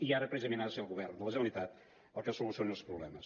i ara precisament ha de ser el govern de la generalitat el que solucioni els problemes